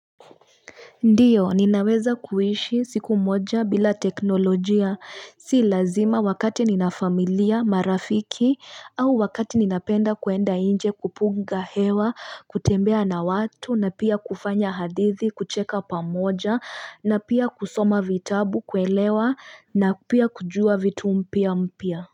Ndiyo ninaweza kuishi siku moja bila teknolojia si lazima wakati ninafamilia marafiki au wakati ninapenda kwenda nje kupunga hewa kutembea na watu na pia kufanya hadithi kucheka pamoja na pia kusoma vitabu kuelewa na pia kujua vitu mpya mpya.